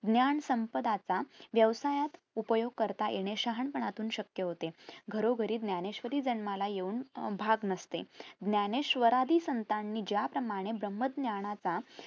ज्ञान संपदाचा व्यवसायात उपयोग करता येणे शहाणपणातून शक्य होते घरोघरी ज्ञानेश्वरी जन्माला येऊन अं भाग नसते ज्ञानेश्वरादी संतांनी ज्याप्रमाणे ब्राम्ह ज्ञानाचा